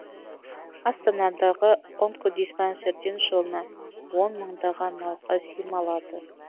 астанадағы онкодиспансерден жылына он мыңдаған науқас ем алады